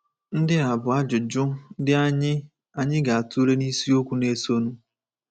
Ndị a bụ ajụjụ ndị anyị anyị ga-atụle n’isiokwu na-esonụ.